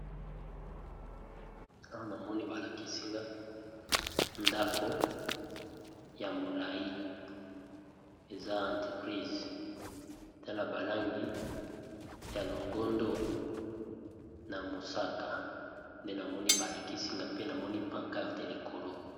Awa namoni ba lakisi nga ndako ya molayi eza entreprise, te na ba langi ya longondo na mosaka nde namoni ba lakisi nga pe namoni pancarte likolo.